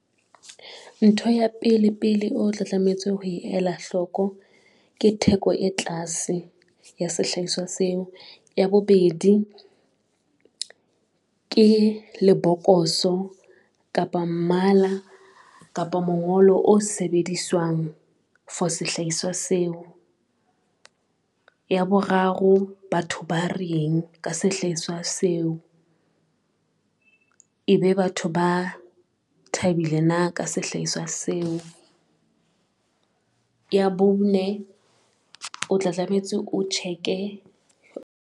Ntho ya pele pele o tla tlametse ho ela hloko ke theko e tlase ya sehlahiswa seo. Ya bobedi ke lebokoso, kapa mmala, kapa mongolo o sebediswang for sehlaiswa seo. Ya boraro, batho ba reng ka sehlaiswa seo, e be batho ba thabile na ka sehlaiswa seo. Ya bone, o tla tlametse, o check-e .